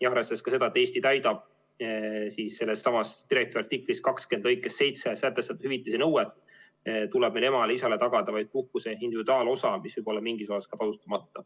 Arvestades ka seda, et Eesti täidab selles samas direktiivi artikli 20 lõikes 7 sätestatud hüvitise nõuet, tuleb meil emale-isale tagada vaid puhkuse individuaalosa, mis võib olla mingis osas ka tasustamata.